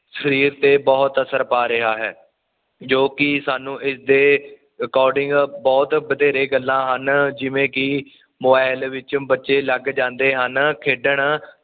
ਸਰੀਰ ਤੇ ਬੁਹਤ ਅਸਰ ਪਾ ਰਿਹਾ ਹੈ ਜੋ ਕਿ ਸਾਨੂੰ ਇਸ ਦੇ ਅਕੋਡਿੰਗ ਬੁਹਤ ਵਧੇਰੇ ਗੱਲਾਂ ਹਨ ਜਿਵੇਂ ਕਿ ਮੋਬਾਇਲ ਵਿੱਚ ਬੱਚੇ ਲੱਗ ਜਾਂਦੇ ਹਨ ਖੇਡਣ